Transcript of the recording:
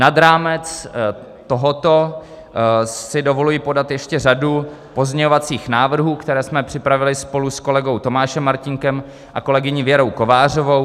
Nad rámec tohoto si dovoluji podat ještě řadu pozměňovacích návrhů, které jsme připravili spolu s kolegou Tomášem Martínkem a kolegyní Věrou Kovářovou.